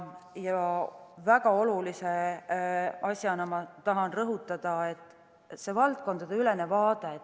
Väga olulise asjana tahan rõhutada valdkonnaülest vaadet.